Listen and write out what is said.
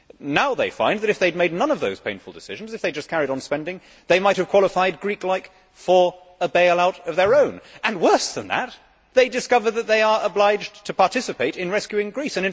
Now they find that, if they had made none of those painful decisions if they had just carried on spending they might have qualified, like the Greeks, for a bail out of their own and, worse than that, they discover that they are obliged to participate in rescuing Greece.